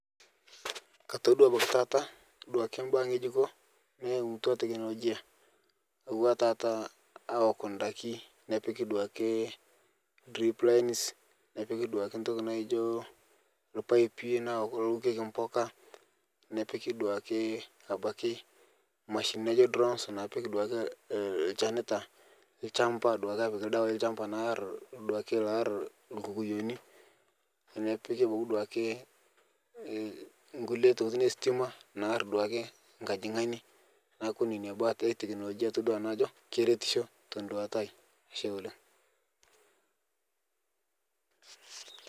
Katodua abaki taata duake baa ng'ejuko naimutwa teknolojia auwa taata aok ndaki nepiki duake drip lines nepiki duake ntoki naijo lpaipi naa kulo owokeki mbuka, nepiki dukae abaki mashinini naijo drones napik duake lchenita lchamba duake apik ldawai lchamba naa ar duake loaar lkukuyoni nepiki abaki duake e nkule tokitin estima naar duake nkajing'ani naaku neina baa ake e teknolojia atodua nanu ajo keretisho teduata aai ashe oleng'.